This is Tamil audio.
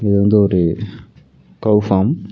இது வந்து ஒரு கௌ ஃபார்ம் .